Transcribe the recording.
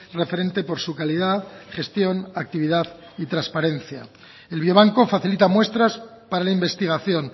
referente por su calidad gestión actividad y transparencia el biobanco facilita muestras para la investigación